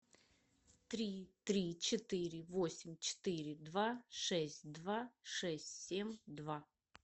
три три четыре восемь четыре два шесть два шесть семь два